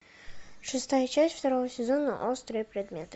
шестая часть второго сезона острые предметы